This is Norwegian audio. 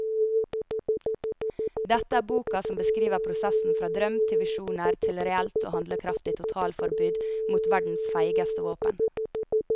Dette er boka som beskriver prosessen fra drøm til visjoner til et reelt og handlekraftig totalforbud mot verdens feigeste våpen.